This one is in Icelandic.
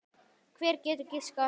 Hver getur giskað á það?